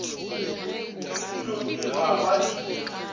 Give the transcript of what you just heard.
le dilomi ga ba di